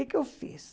O que eu fiz?